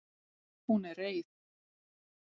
Hún er reið.